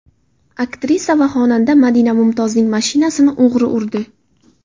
Aktrisa va xonanda Madina Mumtozning mashinasini o‘g‘ri urdi.